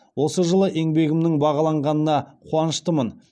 осы жылы еңбегімнің бағаланғанына қуаныштымын